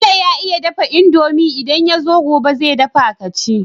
Bello ya iya dafa indomie idan yazo gobe ze dafa kaci